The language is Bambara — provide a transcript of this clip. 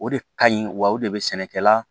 O de ka ɲi wa o de bɛ sɛnɛkɛla